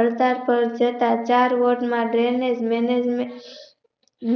આર્તજ પર જતા ચાર વર્ષ ના Drainage management